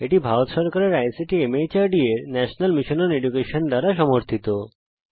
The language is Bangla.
এটি ভারত সরকারের আইসিটি মাহর্দ এর ন্যাশনাল মিশন ওন এডুকেশন দ্বারা সমর্থিত